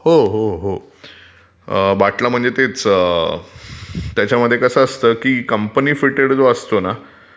हो हो हो ...... बाटला म्हणजे तेच, त्याच्यामध्ये कसं असतं की कंपनी फिटेड जो असतो ना...